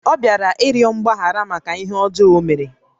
Ọ bịara ịrịọ mgbaghara màkà ihé ọjọọ ọ mèrè